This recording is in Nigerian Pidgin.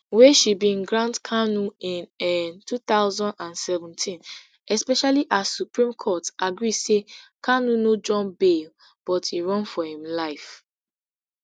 wey she bin grant kanu in um two thousand and seventeen especially as supreme court agree say kanu no jump bail but e run for im life